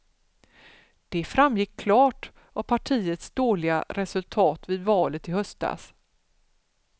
Det framgick klart av partiets dåliga resultat vid valet i höstas.